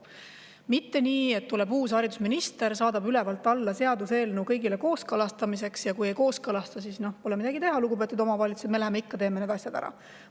Mitte nii, et tuleb uus haridusminister, saadab seaduseelnõu ülevalt alla kõigile kooskõlastamiseks, ja kui ei kooskõlasta, siis pole midagi teha, lugupeetud omavalitsused, me läheme ja teeme need asjad ikkagi ära.